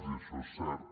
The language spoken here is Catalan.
i això és cert